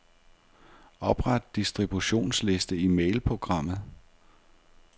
Opret distributionsliste i mailprogrammet.